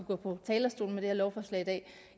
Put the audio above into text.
gå på talerstolen med det her lovforslag i dag